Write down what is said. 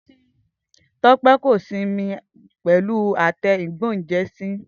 Tope ko sin mi pẹlu àtẹ ìgbóúnjẹsí.